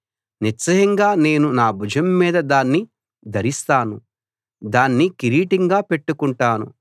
నిశ్చయంగా నేను నా భుజం మీద దాన్ని ధరిస్తాను దాన్ని కిరీటంగా పెట్టుకుంటాను